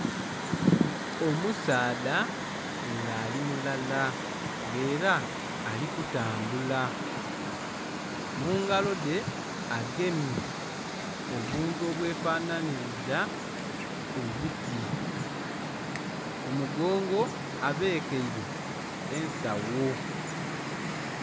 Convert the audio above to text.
Omusaadha nga ali mulala nga era ali kutambula, mu ngalo dhe agemye obuntu obwe fananiriza obuti, ku mugongo abekeire ensawo.